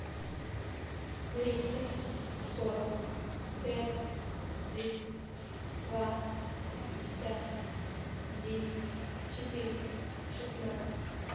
двести сорок пять тридцать два пятьдесят девять четыреста шестнадцать